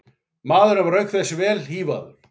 Maðurinn var auk þess vel hífaður